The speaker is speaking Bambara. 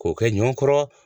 K'o kɛ ɲɔ kɔrɔ